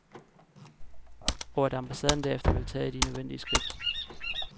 Og at ambassaden derefter vil tage de nødvendige skridt.